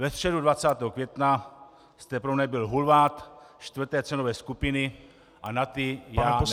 Ve středu 20. května jste pro mne byl hulvát čtvrté cenové skupiny a na ty já nereaguji.